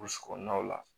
Burusi kɔnɔnaw la